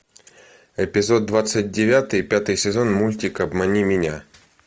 эпизод двадцать девятый пятый сезон мультик обмани меня